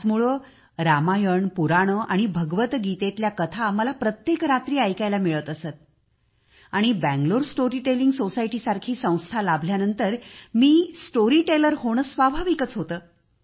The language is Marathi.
त्याचमुळे रामायण पुराणे आणि भगवद्गीतेतील कथा मला प्रत्येक रात्री ऐकायला मिळत असत आणि बंगळूर स्टोरीटेलिंग सोसायटी सारखी संस्था लाभल्यानंतर मी स्टोरी टेलर होणे स्वाभाविक होते